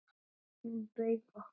Hún bauð okkur.